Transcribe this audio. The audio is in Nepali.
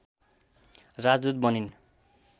राजदूत बनिन्